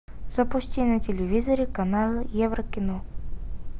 запусти на телевизоре канал еврокино